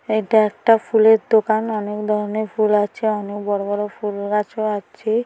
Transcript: এটা একটা ফুলের দোকান অনেক ধরনের ফুল আছে অনেক বড়ো বড়ো ফুল গাছ ও আছে।